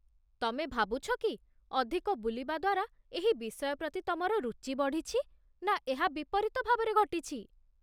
ତମେ ଭାବୁଛ କି ଅଧିକ ବୁଲିବା ଦ୍ଵାରା ଏହି ବିଷୟ ପ୍ରତି ତମର ରୁଚି ବଢ଼ିଛି, ନା ଏହା ବିପରୀତ ଭାବରେ ଘଟିଛି?